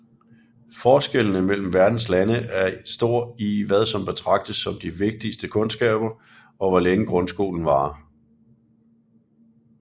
Forskellene mellem verdens lande er stor i hvad som betragtes som de vigtigste kundskaber og hvor længe grundskolen varer